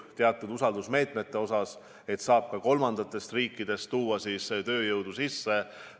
On teatud usaldusmeetmed ja saab ka kolmandatest riikidest tööjõudu sisse tuua.